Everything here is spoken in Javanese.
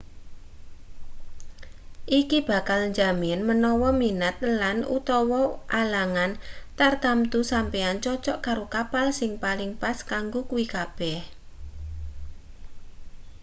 iki bakal njamin menawa minat lan/utawa alangan tartamtu sampeyan cocok karo kapal sing paling pas kanggo kuwi kabeh